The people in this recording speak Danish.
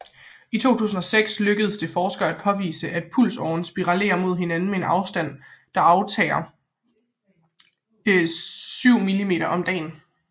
I 2006 lykkedes det forskere at påvise at pulsarerne spirallerer mod hinanden med en afstand der aftager 7mm om dagen